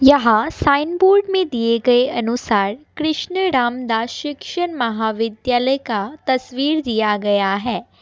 यहाँ sign board मे दिये गए अनुसार कृष्ण रामदास शिक्षण महाविद्यालय का तस्वीर दिया गया है।